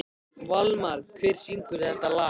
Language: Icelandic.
Valmar, hver syngur þetta lag?